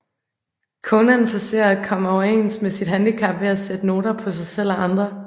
Conan forsøger at komme overens med sit handicap ved at sætte noter på sig selv og andre